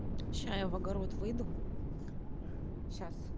сейчас я в огород выйду сейчас